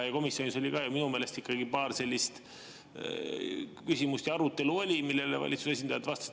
Komisjonis oli minu meelest ikkagi paar sellist küsimust ja arutelu, millele valitsuse esindajad vastasid.